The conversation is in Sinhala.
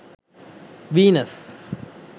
venus